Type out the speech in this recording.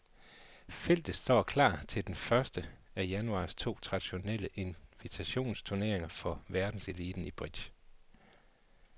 Feltet står klar til den første af januars to traditionelle invitationsturneringer for verdenseliten i bridge.